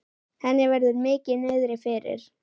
Henni verður mikið niðri fyrir.